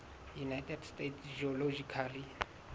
united states geological